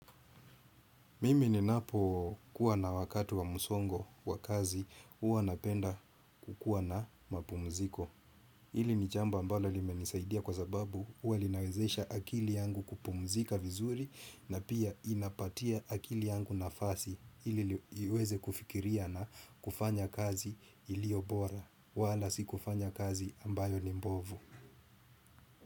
Mimi ninapo kuwa na wakati wa msongo wa kazi, huwa napenda kukuwa na mapumziko. Ili ni jambo ambalo li menisaidia kwa sababu, huwa linawezesha akili yangu kupumzika vizuri na pia inapatia akili yangu nafasi. Ili iweze kufikiria na kufanya kazi iliyo bora, wala si kufanya kazi ambayo ni mbovu.